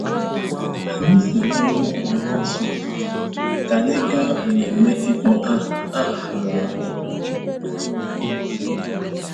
Anyị si n'ọrụ pụọ n'isi ụtụtụ ka anyị gaa mmemme ịkpọ aha aha nwa ọhụrụ.